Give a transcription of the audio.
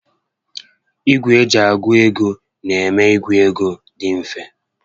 Ìgwè eji a gụ ego n'eme ka ịgụ égo dị mfe